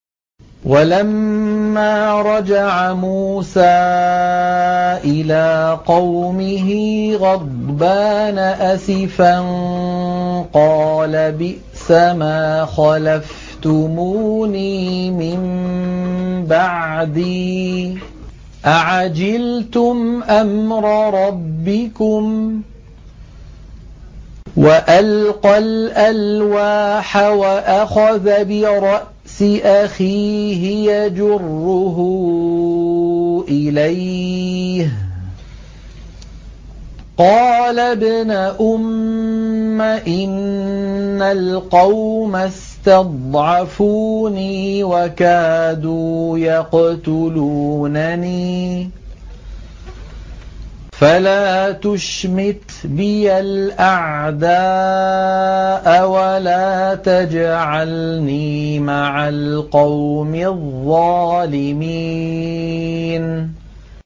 وَلَمَّا رَجَعَ مُوسَىٰ إِلَىٰ قَوْمِهِ غَضْبَانَ أَسِفًا قَالَ بِئْسَمَا خَلَفْتُمُونِي مِن بَعْدِي ۖ أَعَجِلْتُمْ أَمْرَ رَبِّكُمْ ۖ وَأَلْقَى الْأَلْوَاحَ وَأَخَذَ بِرَأْسِ أَخِيهِ يَجُرُّهُ إِلَيْهِ ۚ قَالَ ابْنَ أُمَّ إِنَّ الْقَوْمَ اسْتَضْعَفُونِي وَكَادُوا يَقْتُلُونَنِي فَلَا تُشْمِتْ بِيَ الْأَعْدَاءَ وَلَا تَجْعَلْنِي مَعَ الْقَوْمِ الظَّالِمِينَ